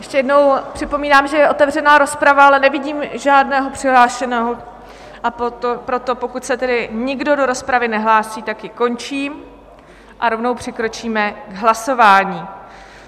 Ještě jednou připomínám, že je otevřená rozprava, ale nevidím žádného přihlášeného a proto, pokud se tedy nikdo do rozpravy nehlásí, tak ji končím a rovnou přikročíme k hlasování.